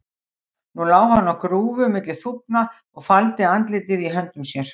Nú lá hann á grúfu milli þúfna og faldi andlitið í höndum sér.